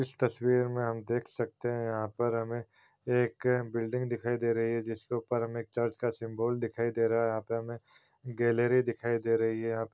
इस तस्वीर मे हम देख सकते हैं यहाँ पर हमे एक बिल्डिंग दिखाई दे रही हैं जिसके ऊपर हमे एक चर्च का सिम्बल दिखाई दे रहा हैं यहाँ पे गॅलरी दिखाई दे रही है।